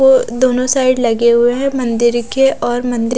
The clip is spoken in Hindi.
तो दोनों साइड लगे हुए है मंदिर के और मंदिर--